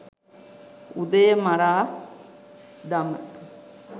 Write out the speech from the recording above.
උදය මරා දම